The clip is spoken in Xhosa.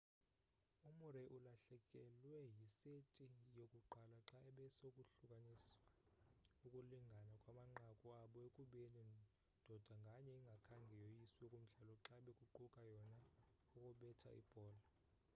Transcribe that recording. umurray ulahlekelwe yiseti yokuqala xa bekusohlukaniswa ukulingana kwamanqaku abo ekubeni ndoda nganye ingakhange yoyiswe kumdlalo xa bekuqala yona ukubetha ibhola